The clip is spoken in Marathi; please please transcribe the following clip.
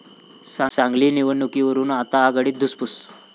सांगली निवडणुकीवरून आता आघाडीत धुसफूस